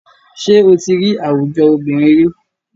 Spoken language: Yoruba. Ṣé o tí rí àwùjọ obìnrin ríi?